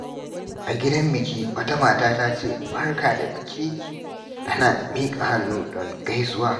A gidan biki, wata mata ta ce, "Barka da biki" tana miƙa hannu don gaisuwa.